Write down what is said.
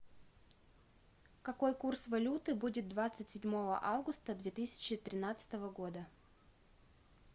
какой курс валюты будет двадцать седьмого августа две тысячи тринадцатого года